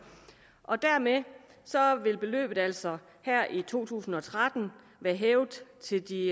og dermed vil beløbet altså her i to tusind og tretten være hævet til de